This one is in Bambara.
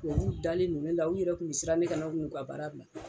Tubabuw dalen no ne la u yɛrɛ kun mɛ siran ne kana n'u ka baara bila.